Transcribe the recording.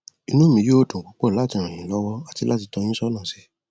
inú mi yóò dùn púpọ láti ràn yín lọwọ àti láti tọ ọ yín sọnà si